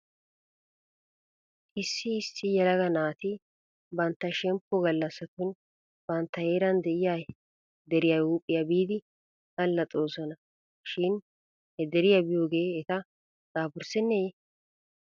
Issi issi yelaga naati bantta shemppe gallassatun bantta heeran de'iyaa deriyaa huuphiyaa biidi allaxoosona shin he deriyaa biyoogee eta daafurssennee?